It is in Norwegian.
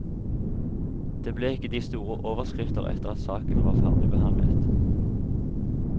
Det ble ikke de store overskrifter etter at saken var ferdigbehandlet.